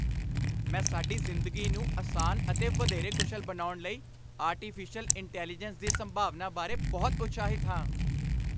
ਮੈਂ ਸਾਡੀ ਜ਼ਿੰਦਗੀ ਨੂੰ ਅਸਾਨ ਅਤੇ ਵਧੇਰੇ ਕੁਸ਼ਲ ਬਣਾਉਣ ਲਈ ਆਰਟੀਫਿਸ਼ਲ ਇੰਟੈਲੀਜੈਂਸ ਦੀ ਸੰਭਾਵਨਾ ਬਾਰੇ ਬਹੁਤ ਉਤਸ਼ਾਹਿਤ ਹਾਂ।